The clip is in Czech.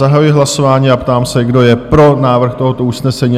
Zahajuji hlasování a ptám se, kdo je pro návrh tohoto usnesení?